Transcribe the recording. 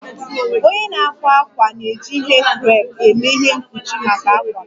Onye na-akwa akwa na-eji ihe creepe eme ihe mkpuchi maka akwa m